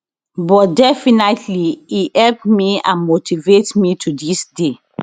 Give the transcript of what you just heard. but definitely e help me and motivate me to dis day